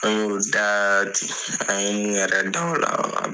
An y'olu da ten an ye min yɛrɛ da u la